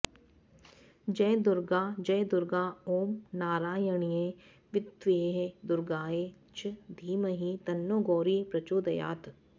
जयदुर्गा जयदुर्गा ॐ नारायण्यै विद्महे दुर्गायै च धीमहि तन्नो गौरी प्रचोदयात्